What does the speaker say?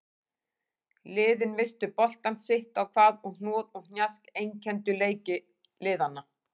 Liðin misstu boltann sitt á hvað og hnoð og hnjask einkenndu leik liðanna.